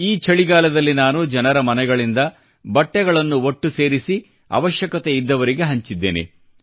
ಈ ಛಳಿಗಾಲದಲ್ಲಿ ನಾನು ಜನರ ಮನೆಗಳಿಂದ ಬಟ್ಟೆಗಳನ್ನು ಒಟ್ಟು ಸೇರಿಸಿ ಅವಶ್ಯಕತೆ ಇದ್ದವರಿಗೆ ಹಂಚಿದ್ದೇನೆ